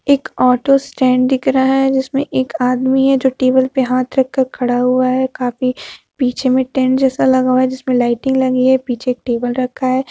एक auto stand दिख रहा है जिसमें एक आदमी है जो टेबल पर हाथ रखकर खड़ा हुआ है काफी पीछे में टेंट जैसा लगा हुआ है जिसमें लाइटिंग लगी है पीछे एक टेबल रखा है।